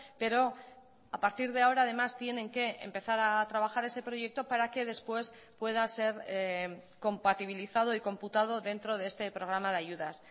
pero a partir de ahora además tienen que empezar a trabajar ese proyecto para que después pueda ser compatibilizado y computado dentro de este programa de ayudas